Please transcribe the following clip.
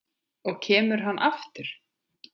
Og kemur hann aftur?